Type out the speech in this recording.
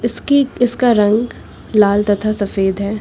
इसकी इसका रंग लाल तथा सफेद है।